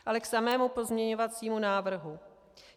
Ale k samému pozměňovacímu návrhu.